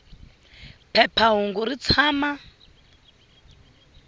phepha hungu ri tshama